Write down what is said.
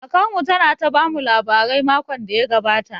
Kakar mu ta na ta bamu labarai makon da ya gabata